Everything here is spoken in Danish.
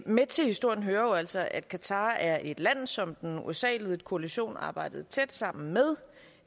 med til historien hører jo altså at qatar er et land som den usa ledede koalition arbejdede tæt sammen med